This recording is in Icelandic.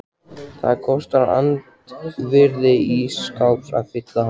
Það kostar andvirði ís skáps að fylla hann.